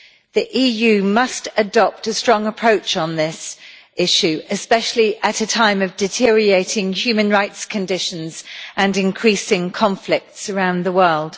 The EU must adopt a strong approach on this issue, especially at a time of deteriorating human rights conditions and increasing conflicts around the world.